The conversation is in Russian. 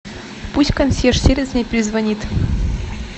пусть консьерж сервис мне перезвонит